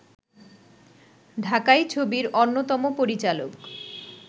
ঢাকাই ছবির অন্যতম পরিচালক